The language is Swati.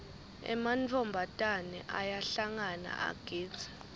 ematfombatane ayahlangana agidze